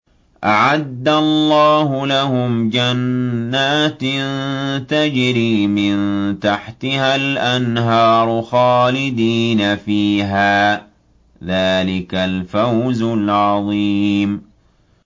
أَعَدَّ اللَّهُ لَهُمْ جَنَّاتٍ تَجْرِي مِن تَحْتِهَا الْأَنْهَارُ خَالِدِينَ فِيهَا ۚ ذَٰلِكَ الْفَوْزُ الْعَظِيمُ